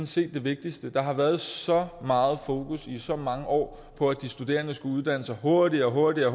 set det vigtigste der har været så meget fokus i så mange år på at de studerende skulle uddanne sig hurtigere og hurtigere